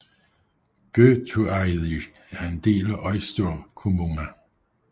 Gøtueiði er en del af Eysturkommuna